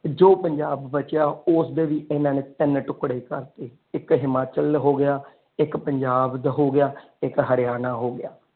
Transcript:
ਜੋ ਪੰਜਾਬ ਬਚਿਆ ਉਸਦੇ ਵੀ ਇਹਨਾਂ ਨੇ ਤਿੰਨ ਟੁਕੜੇ ਕਰ ਦਿੱਤੇ ਇਕ ਹਿਮਾਚਲ ਹੋ ਗਿਆ ਇਕ ਪੰਜਾਬ ਦਾ ਹੋ ਗਿਆ ਇਕ ਹਰਿਆਣਾ ਹੋ ਗਿਆ।